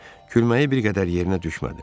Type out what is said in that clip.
Gülməyi bir qədər yerinə düşmədi.